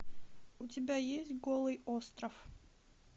у тебя есть голый остров